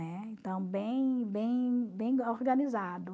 Então, bem bem bem organizado, né?